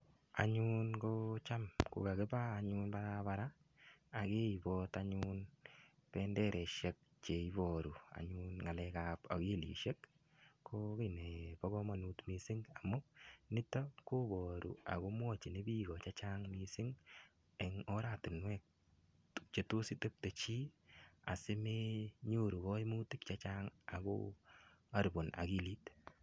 Anyun Cham anyun ko kakiba barabara ak keibot anyun benderaisiek Che Iboru anyun ngalek ab akilisiek ko ki nebo kamanut mising amun niton koboru ako Imuch koityi bik Che Chang mising en oratinwek Che Imuch asi menyoru kaimutik Che Chang ako haribunoni akilit